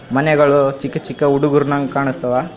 ಮನೆಗಳು ಚಿಕ್ಕ ಚಿಕ್ಕ ಹುಡುಗುರುನ್ ಹಂಗೆ ಕಾಣಿಸ್ತಾವ.